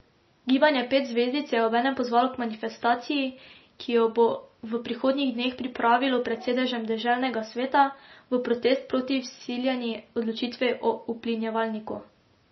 Gibanje Pet zvezdic je obenem pozvalo k manifestaciji, ki jo bo v prihodnjih dneh pripravilo pred sedežem deželnega sveta v protest proti vsiljeni odločitvi o uplinjevalniku.